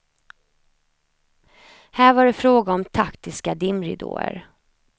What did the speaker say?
Här var det fråga om taktiska dimridåer.